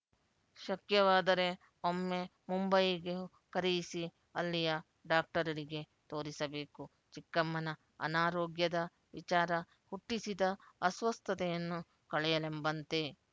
ಶಕ್ಯವಾದರೆ ಒಮ್ಮೆ ಮುಂಬಯಿಗೂ ಕರೆಯಿಸಿ ಅಲ್ಲಿಯ ಡಾಕ್ಟರರಿಗೆ ತೋರಿಸಬೇಕು ಚಿಕ್ಕಮ್ಮನ ಅನಾರೋಗ್ಯದ ವಿಚಾರ ಹುಟ್ಟಿಸಿದ ಅಸ್ವಸ್ಥತೆಯನ್ನು ಕಳೆಯಲೆಂಬಂತೆ